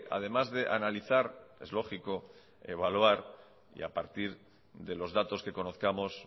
además de analizar es lógico evaluar y a partir de los datos que conozcamos